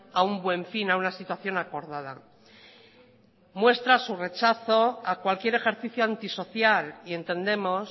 a un buen fin a una situación acordada muestra su rechazo a cualquier ejercicio antisocial y entendemos